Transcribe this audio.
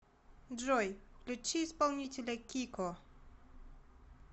джой включи исполнителя кико